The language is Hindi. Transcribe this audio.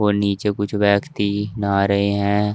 और नीचे कुछ व्यक्ति नहा रहे हैं।